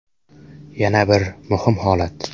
Yana bir muhim holat.